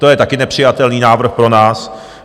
To je také nepřijatelný návrh pro nás.